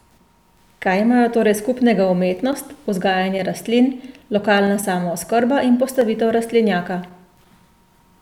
Kaj imajo torej skupnega umetnost, vzgajanje rastlin, lokalna samooskrba in postavitev rastlinjaka?